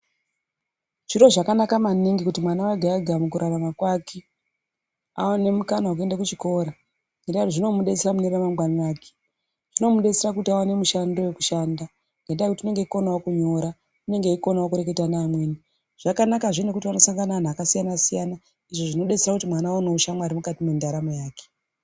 Zviro zvakanaka maningi kuti mwana ega ega mukurarama kwake aone mukana wekuenda kuchikora ngekuti zvimomudetsera mune ramangwana rake. Zvinomudetsera kuti aone mushando wekushanda ngendaa yekuti unenge eikonawo kunyora, unenge eikonawo kureketa nevamweni. Zvakanakazve nekuti vanenge vachisangana nevanhu vakasiyana siyana, izvo zvinodetsera kuti mwana aonewo shamwari mukati mendaramo yake.